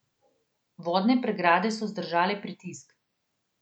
Vodne pregrade so zdržale pritisk.